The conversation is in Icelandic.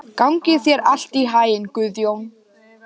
Gangi þér allt í haginn, Guðjón.